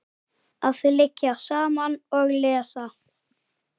Að liggja saman og lesa.